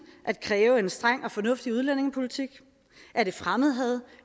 at kræve en streng og fornuftig udlændingepolitik er det fremmedhad